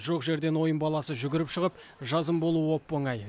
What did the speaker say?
жоқ жерден ойын баласы жүгіріп шығып жазым болуы оп оңай